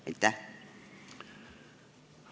Aitäh!